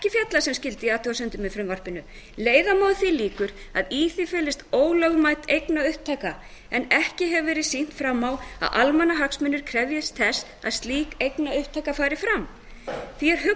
er ekki fjallað sem skyldi í athugasemdum með frumvarpinu leiða má að því líkur að í því felist ólögmæt eignaupptaka en ekki hefur verið sýnt fram á að almannahagsmunir krefjist þess að slík eignaupptaka fari fram því er